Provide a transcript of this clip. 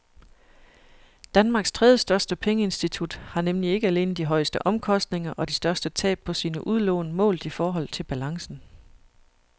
Danmarks tredjestørste pengeinstitut har nemlig ikke alene de højeste omkostninger og de største tab på sine udlån målt i forhold til balancen.